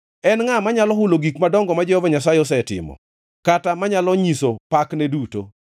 En ngʼa manyalo hulo gik madongo ma Jehova Nyasaye osetimo kata manyalo nyiso pakne duto?